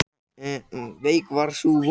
Veik er sú von.